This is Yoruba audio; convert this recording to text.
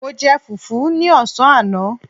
Mo jẹ fùfú ní ọ̀sán àná